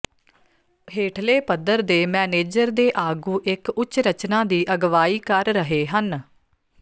ਹੇਠਲੇ ਪੱਧਰ ਦੇ ਮੈਨੇਜਰ ਦੇ ਆਗੂ ਇੱਕ ਉੱਚ ਰਚਨਾ ਦੀ ਅਗਵਾਈ ਕਰ ਰਹੇ ਹਨ